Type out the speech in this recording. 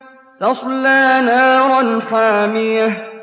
تَصْلَىٰ نَارًا حَامِيَةً